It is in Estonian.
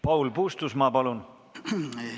Paul Puustusmaa, palun!